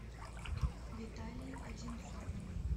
виталей одинцовым